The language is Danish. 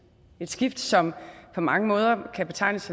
et skift som på mange måder kan betegnes